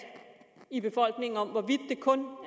i befolkningen om hvorvidt det kun